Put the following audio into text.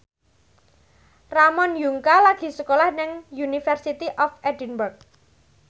Ramon Yungka lagi sekolah nang University of Edinburgh